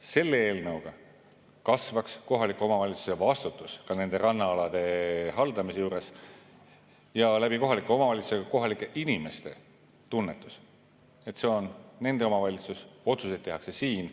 Selle eelnõu kohaselt kasvaks kohaliku omavalitsuse vastutus ka rannaalade haldamisel ja kohalike omavalitsuste ning kohalike inimeste tunnetus, et see on nende omavalitsus, otsuseid tehakse siin.